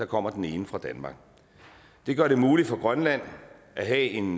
kommer den ene fra danmark det gør det muligt for grønland at have en